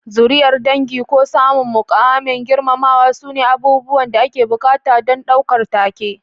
Zuriyar dangi ko samun muƙamin girmamawa sune abubuwan da ake buƙata don ɗaukar taken.